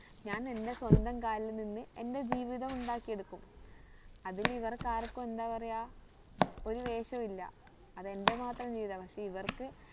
ഞാൻ എന്റെ സ്വന്തം കാലിൽ നിന്ന് എന്റെ ജീവിതം ഉണ്ടാക്കി എടുക്കും അതില് ഇവർക്ക് ആർക്കും എന്താ പറയാ ഒരു വേഷവും ഇല്ല അത് എന്റെ മാത്രം ജീവിതമാ പക്ഷെ ഇവർക്ക്